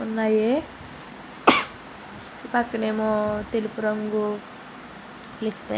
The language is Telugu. ఉన్నాయి ఒక పక్కన ఏమో తెలుపు రంగు --